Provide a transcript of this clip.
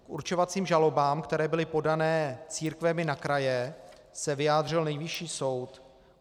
K určovacím žalobám, které byly podané církvemi na kraje, se vyjádřil Nejvyšší soud.